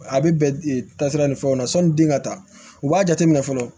A bɛ bɛn taa sira ni fɛnw na sɔni bin ka taa u b'a jateminɛ fɔlɔ